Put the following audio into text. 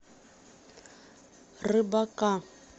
рыбака